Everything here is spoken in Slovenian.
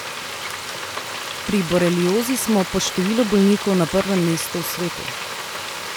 Pri boreliozi smo po številu bolnikov na prvem mestu v svetu.